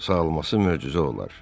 Sağalması möcüzə olar.